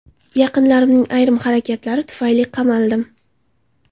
Yaqinlarimning ayrim harakatlari tufayli qamaldim.